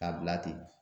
K'a bila ten